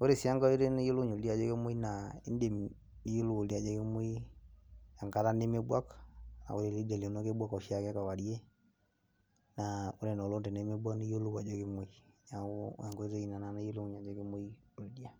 ore sii enkai oitoi nayiolounyie oldia ajo kemwoi naa indim niyiolou oldia ajo kemwoi enkata nemebwak naa kebwak oshiake kewarie naa ore ina oleng tenemebuak naa iyiolou ake ajo kemwoi neeku enkoitoi ina nayiolounyie ajo kemwoi oldia.